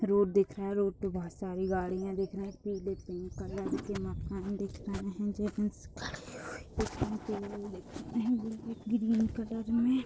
Road दिख रहें है। रोड पे बहुत सारी गड़ियाँ दिख रहीं है। पीले पिंक कलर के मकान दिख रहे हैं। जेंट्स खड़े हुए ग्रीन कलर में --